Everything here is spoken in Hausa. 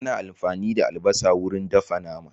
Ana amfani da albasa wurin dafa nama.